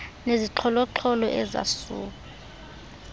nezixholo xholo ezasuba